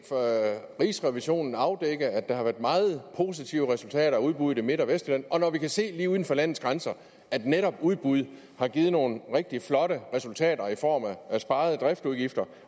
rigsrevisionen afdække at der har været meget positive resultater af udbud i midt og vestjylland og når vi kan se lige uden for landets grænser at netop udbud har givet nogle rigtig flotte resultater i form af sparede driftsudgifter